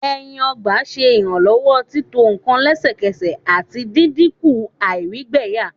ẹyin ọgba ṣe iranlọwọ tito nkan lẹsẹsẹ, ati dinku àìrígbẹyà